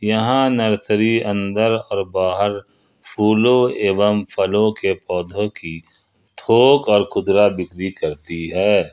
यहां नर्सरी अंदर और बहार फूलों एवं फलों के पौधों की थोक और खुदरा बिक्री करती है।